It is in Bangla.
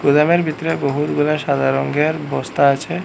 গ্রামের ভিতরে বহুতগুলা সাদা রঙ্গের বস্তা আছে।